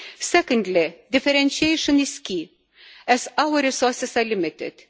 Secondly, differentiation is key, as our resources are limited.